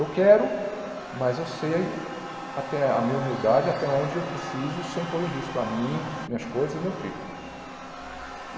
Eu quero, mas eu sei até a minha humildade, até onde eu preciso, sem pôr em risco a mim, minhas coisas e meu filho.